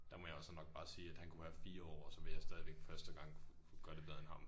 Der må jeg jo så nok bare sige at han kunne have 4 år og så ville jeg stadigvæk første gang kunne gøre det bedre end ham